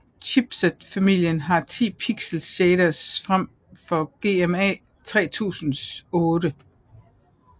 Chipset familien har ti pixel shaders frem for GMA 3000s otte